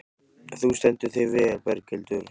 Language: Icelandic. Þú stendur þig vel, Berghildur!